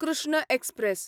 Krishna express